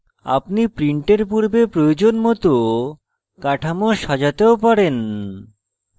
আপনি printing পূর্বে প্রয়োজন মত কাঠামো সাজাতেও পারেন